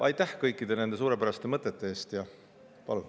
Aitäh kõikide nende suurepäraste mõtete eest!